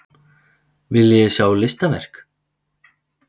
Viljiði sjá listaverk?